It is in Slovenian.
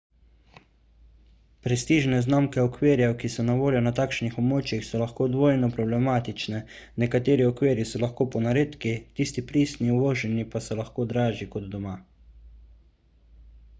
prestižne znamke okvirjev ki so na voljo na takšnih območjih so lahko dvojno problematične nekateri okvirji so lahko ponaredki tisti pristni uvoženi pa so lahko dražji kot doma